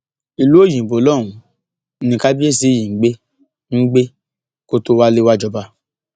ìlú òyìnbó lọhùnún ni kábíyèsí yìí ń gbé ń gbé kó tóó wálẹ wàá jọba